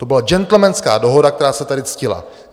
To byla džentlmenská dohoda, která se tady ctila.